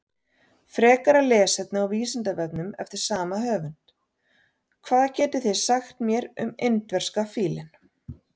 Frekara lesefni á Vísindavefnum eftir sama höfund: Hvað getið þið sagt mér um indverska fílinn?